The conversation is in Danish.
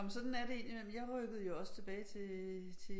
Nå men sådan er det indimellem jeg rykkede jo også tilbage til til